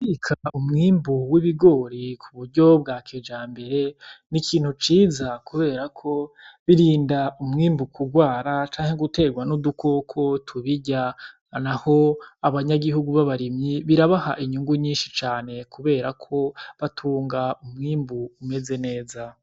Kubika umwimbu w'ibigori kuburyo bwa kijambere ni ikintu ciza kuberako birinda umwimbu kurwara canke guterwa n'udukoko tubirya naho abanyagihugu b'abarimyi birabaha inyungu nyinshi cane kuberako batunga umwimbu umeze neza .